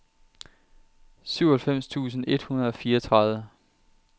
syvoghalvfems tusind et hundrede og fireogtredive